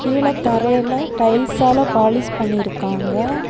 கீழ தரையில டைல்ஸ்சால பாலிஷ் பண்ணி இருக்காங்க.